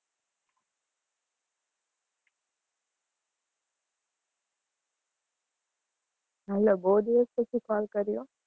hello બોવ દિવસ પછી call કર્યો?